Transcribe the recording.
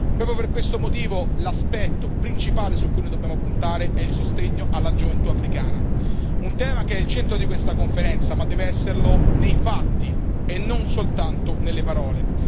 Proprio per questo motivo, l'aspetto principale su cui noi dobbiamo puntare è il sostegno alla gioventù africana, un tema che è al centro di questa conferenza, ma che deve esserlo nei fatti e non soltanto nelle parole.